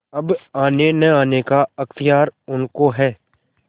अब आनेनआने का अख्तियार उनको है